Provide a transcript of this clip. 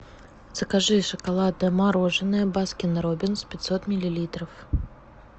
закажи шоколадное мороженое баскин роббинс пятьсот миллилитров